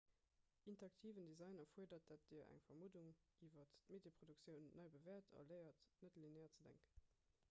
interaktiven design erfuerdert datt dir eng vermuddung iwwer d'medieproduktioun nei bewäert a léiert net-linear ze denken